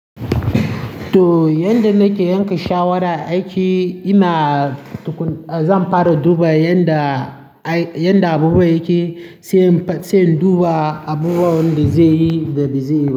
To yanda nake yanka shawara, a aiki ina zan fara duba yanda, yanda abubuwa yake, sai, sai in duba abubuwan da zaiyi da ba zaiyi.